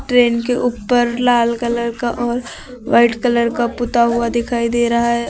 Train के ऊपर लाल कलर का और व्हाइट कलर का पुता हुआ दिखाई दे रहा है।